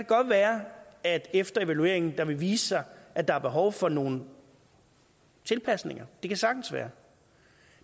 godt være at det efter evalueringen vil vise sig at der er behov for nogle tilpasninger det kan sagtens være